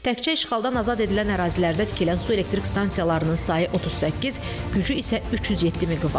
Təkcə işğaldan azad edilən ərazilərdə tikilən su elektrik stansiyalarının sayı 38, gücü isə 307 meqavatdır.